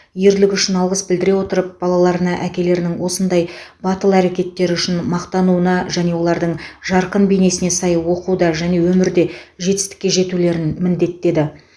ерлігі үшін алғыс білдіре отырып балаларына әкелерінің осындай батыл әрекеттері үшін мақтануына және олардың жарқын бейнесіне сай оқуда және өмірде жетістікке жетулерін міндеттеді